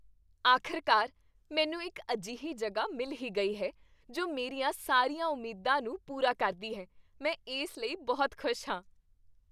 ਆਖਿਰਕਾਰ, ਮੈਨੂੰ ਇੱਕ ਅਜਿਹੀ ਜਗ੍ਹਾ ਮਿਲ ਹੀ ਗਈ ਹੈ ਜੋ ਮੇਰੀਆਂ ਸਾਰੀਆਂ ਉਮੀਦਾਂ ਨੂੰ ਪੂਰਾ ਕਰਦੀ ਹੈ ਮੈਂ ਇਸ ਲਈ ਬਹੁਤ ਖੁਸ਼ ਹਾਂ।